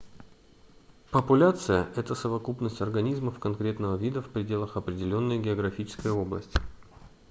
популяция это совокупность организмов конкретного вида в пределах определённой географической области